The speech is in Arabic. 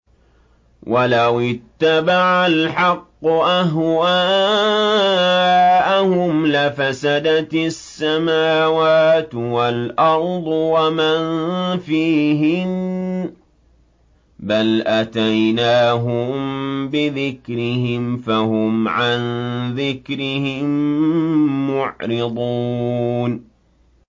وَلَوِ اتَّبَعَ الْحَقُّ أَهْوَاءَهُمْ لَفَسَدَتِ السَّمَاوَاتُ وَالْأَرْضُ وَمَن فِيهِنَّ ۚ بَلْ أَتَيْنَاهُم بِذِكْرِهِمْ فَهُمْ عَن ذِكْرِهِم مُّعْرِضُونَ